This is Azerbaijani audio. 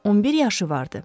11 yaşı vardı.